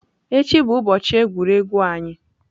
Echi bụ ụbọchị egwuregwu anyị.